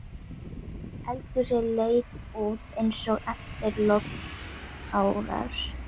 Eldhúsið leit út eins og eftir loftárás.